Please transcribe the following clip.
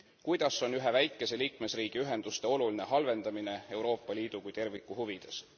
Kuidas on ühe väikese liikmesriigi ühenduste oluline halvendamine Euroopa Liidu kui terviku huvides?